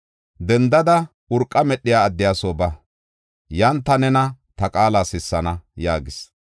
“Dendada urqa medhiya addiya soo ba. Yan ta nena ta qaala sissana” yaagis.